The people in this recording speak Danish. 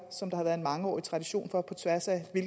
som der har været en mangeårige tradition for på tværs af